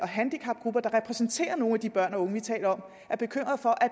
handicapgrupper der repræsenterer nogle af de børn og unge vi taler om er bekymret for at